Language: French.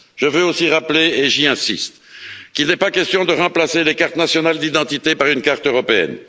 Je veux aussi rappeler, et j'insiste, qu'il n'est pas question de remplacer les cartes nationales d'identité par une carte européenne.